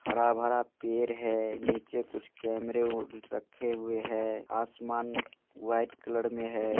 हरा भरा पैड़ है नीचे कु केमरे अ रखे हुए हैं आसमान व्हाइट कलर मे है।